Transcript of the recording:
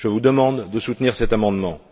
Je vous demande de soutenir cet amendement.